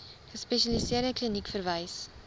gespesialiseerde kliniek verwys